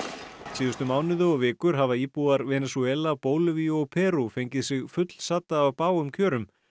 síðustu mánuði og vikur hafa íbúar Venesúela Bólivíu og Perú fengið sig fullsadda af bágum kjörum